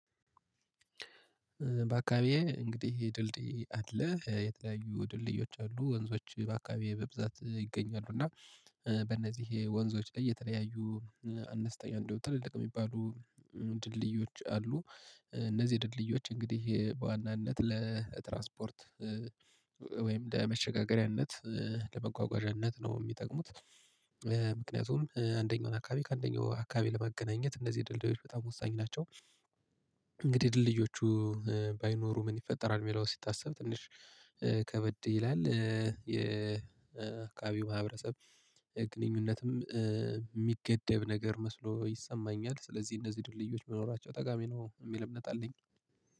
በአካባቢዬ እንግዲህ ድልድይ አለ የተለያዩ ድልድዮች አሉ ወንዞች በአካባቢዬ በብዛት ይገኛሉ እና በእነዚህ ወንዞች ላይ የተለያዩ አነስተኛ እንደው ትልልቅ የሚባሉ ድልድዮች አሉ እነዚህ ድልድዮች እንግዲህ በዋናነት ለትራስፖርት ወይም ለመሸጋገሪያነት ለመጓጓዣነት ነው የሚጠቅሙት ምክንያቱም አንደኛውን አካባቢ ከአንደኛው አካባቢ ለማገናኘት እነዚህ ድልድዮች በጣም ወሳኝ ናቸው። እንግዲህ ድልድዮቹ ባይኖሩ ምን ይፈጠራል የሚለው ሲታሰብ ትንሽ ከበድ ይላል የአካባቢው ማህበረሰብ ግንኙነትም የሚገደብ ነገር መስሎ ይሰማኛል ስለዚህ እነዚህ ድልድዮች መኖራቸው ጠቃሚ ነው የሚል እምነት አለኝ